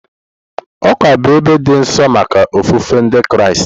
Ụka bụ ebe dị nsọ maka ofufe Ndị Kraịst.